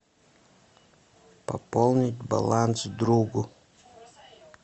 пополнить баланс другу